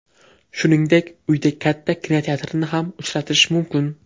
Shuningdek, uyda katta kinoteatrni ham uchratish mumkin.